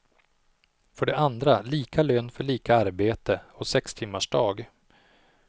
För det andra lika lön för lika arbete, och sextimmarsdag.